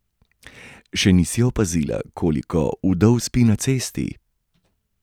Še nisi opazila, koliko vdov spi na cesti?